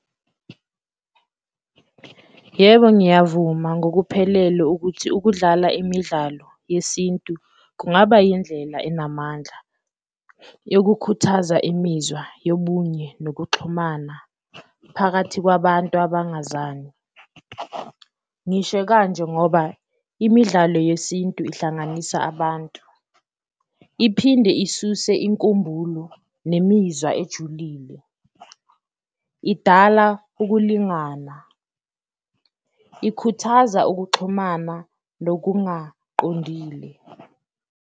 Yebo, ngiyavuma ngokuphelele ukuthi ukudlala imidlalo yesintu kungaba yindlela enamandla yokukhuthaza imizwa yobunye nokuxhumana phakathi kwabantu abangazani, ngisho kanje ngoba imidlalo yesintu ihlanganisa abantu. Iphinde isuse inkumbulo nemizwa ejulile, idala ukulingana, ikhuthaza ukuxhumana nokungaqondile.